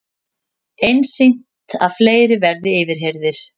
Einsýnt að fleiri verði yfirheyrðir